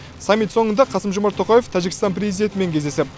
саммит соңында қасым жомарт тоқаев тәжікстан президентімен кездесіп